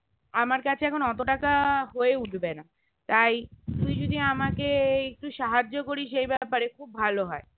আমার কাছে এখন অত টাকা হয়ে উঠবে না তাই তুই যদি আমাকে এই একটু সাহায্য করিস এই ব্যাপারে খুব ভালো হয়